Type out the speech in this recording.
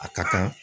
A ka kan